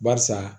Barisa